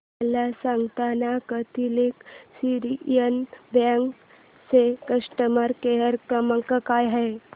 मला सांगाना Catholic Syrian Bank चा कस्टमर केअर क्रमांक काय आहे